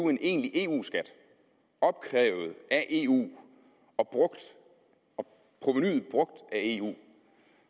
en egentlig eu skat opkrævet af eu og provenuet brugt af eu